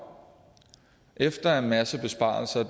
efter en masse besparelser